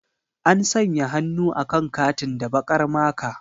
An sanya hannu akan katin da baƙar maka.